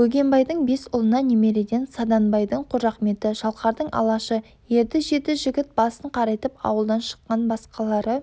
бөгенбайдың бес ұлына немереден саданбайдың қожақметі шалқардың алашы ерді жеті жігіт басын қарайтып ауылдан шыққан басқалары